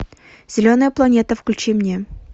зеленая планета включи мне